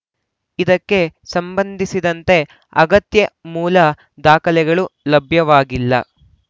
ಇದಕ್ಕೆ ಸಂಬಂಧಿಸಿದಂತೆ ಅಗತ್ಯ ಮೂಲ ದಾಖಲೆಗಳು ಲಭ್ಯವಾಗಿಲ್ಲ